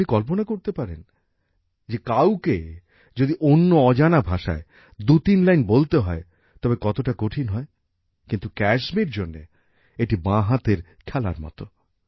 আপনি কল্পনা করতে পারেন যে কাউকে যদি অন্য অজানা ভাষায় দুইতিন লাইন বলতে হয় তবে কতটা কঠিন হয় কিন্তু ক্যায়সমির জন্য এটি বাঁ হাতের খেলার মতো